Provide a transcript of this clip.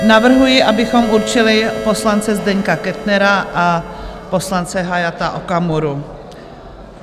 Navrhuji, abychom určili poslance Zdeňka Kettnera a poslance Hayata Okamuru.